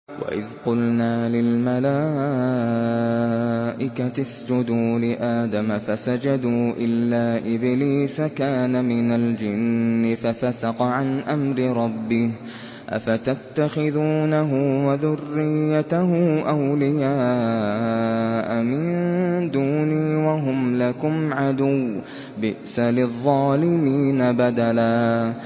وَإِذْ قُلْنَا لِلْمَلَائِكَةِ اسْجُدُوا لِآدَمَ فَسَجَدُوا إِلَّا إِبْلِيسَ كَانَ مِنَ الْجِنِّ فَفَسَقَ عَنْ أَمْرِ رَبِّهِ ۗ أَفَتَتَّخِذُونَهُ وَذُرِّيَّتَهُ أَوْلِيَاءَ مِن دُونِي وَهُمْ لَكُمْ عَدُوٌّ ۚ بِئْسَ لِلظَّالِمِينَ بَدَلًا